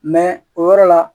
o yɔrɔ la